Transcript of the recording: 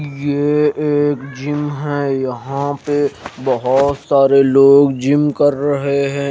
ये एक जिम है यहां पे बहोत सारे लोग जिम कर रहे हैं।